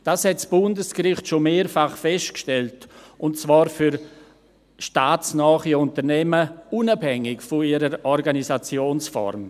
Das hat das Bundesgericht schon mehrfach festgestellt, und zwar für staatsnahe Unternehmen, unabhängig von ihrer Organisationsform.